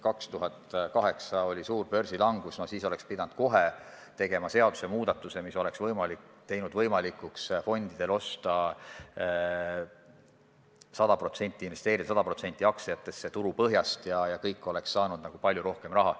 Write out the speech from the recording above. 2008 oli suur börsilangus – kohe siis oleks pidanud tegema seadusemuudatuse, mis võimaldanuks fondidel osta 100%, investeerida 100% aktsiatesse turu põhjast, ja kõik oleks saanud palju rohkem raha.